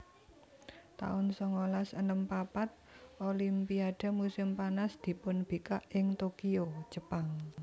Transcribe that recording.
taun songolas enem papat Olimpiade musim panas dipunbikak ing Tokyo Jepang